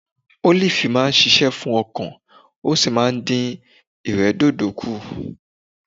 Ólìfú máa ń ṣiṣẹ́ fún ọkàn ó sì máa ń dìn ìrẹ́dòdò kù